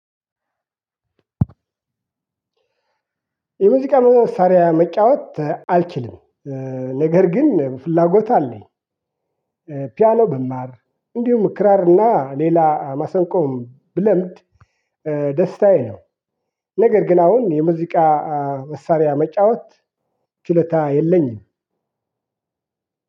ሙዚቃ መሳሪያ መጫወት አልችልም ነገር ግን ፍላጎት አለኝ። ፒያኖ ብማር እንድሁም ክራር እና ሌላ ማሰንቆም ብለምድ ደስታዬ ነው። ነገር ግን አሁን የሙዚቃ መሳሪያ መጫወት ችሎታ የለኝም።